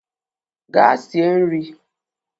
Gaa sie nrị!